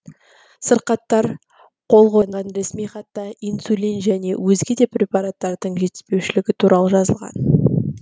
сырқаттар қол қойған ресми хатта инсулин және өзге де препараттардың жетіспеушілігі туралы жазылған